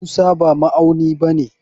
Musa ba ma'auni bane.